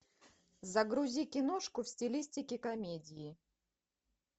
загрузи киношку в стилистике комедии